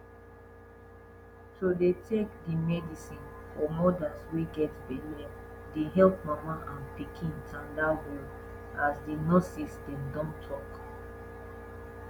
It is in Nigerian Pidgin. to dey take di medicine for modas wey get belle dey epp mama and pikin tanda well as di nurses dem don talk